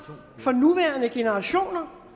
for nuværende generationer